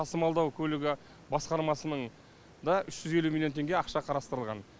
тасымалдау көлігі басқармасының да үш жүз елу миллион теңге ақша қарастырылған